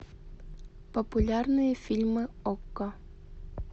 популярные фильмы окко